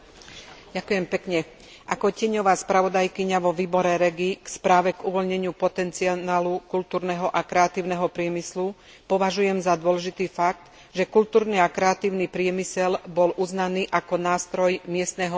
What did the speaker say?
Ako tieňová spravodajkyňa vo výbore REGI k správe k uvoľneniu potenciálu kultúrneho a kreatívneho priemyslu považujem za dôležitý fakt, že kultúrny a kreatívny priemysel bol uznaný ako nástroj miestneho a regionálneho rozvoja.